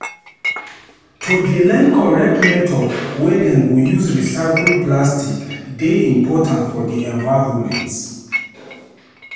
To dey learn correct method wey dem go use recycle plastic dey important for di environment.